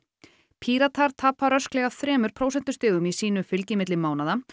Píratar tapa rösklega þremur prósentustigum í sínu fylgi milli mánaða